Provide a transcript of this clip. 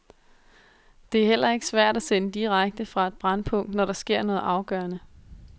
Det er heller ikke svært at sende direkte fra et brændpunkt, når der sker noget afgørende.